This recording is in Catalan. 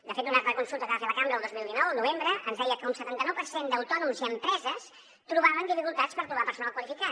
de fet una altra consulta que va fer la cambra el dos mil dinou al novembre ens deia que un setanta·nou per cent d’autònoms i empreses trobaven dificultats per trobar perso·nal qualificat